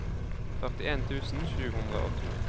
førtien tusen sju hundre og to